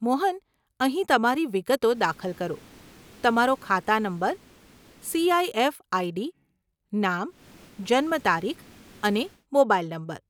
મોહન, અહીં તમારી વિગતો દાખલ કરો, તમારો ખાતા નંબર, સીઆઈએફ આઈડી, નામ, જન્મતારીખ અને મોબાઈલ નંબર.